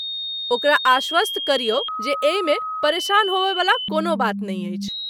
ओकरा आश्वस्त करियौ जे एहिमे परेशान होबयवला कोनो बात नहि अछि।